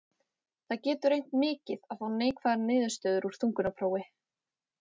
Það getur reynt mikið á að fá neikvæða niðurstöðu úr þungunarprófi.